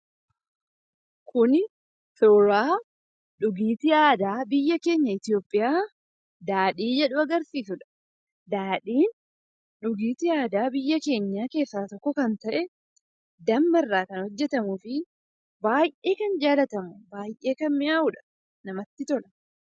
Kun dhugaatii aadaa biyya keenya jiru "daadhii" agarsiisudha. Daadhiin dhugaatii aadaa biyya keenya keessaa tokko kan ta'e damma irraa kan hojjetamuu fi baay'ee kan jaalatamudha. Baay'ee kan miyaa'udha jechuudha.